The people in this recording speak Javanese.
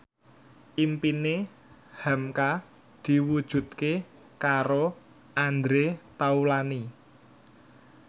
impine hamka diwujudke karo Andre Taulany